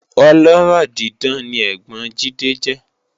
Ọlọ́rọ̀ dídán ni ẹ́gbọ́n Jide jẹ́